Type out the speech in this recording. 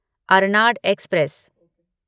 Arnad express